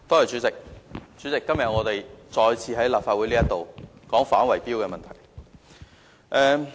主席，今天我們再次在立法會討論反圍標的問題。